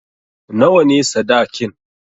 Nawa ne sadakin?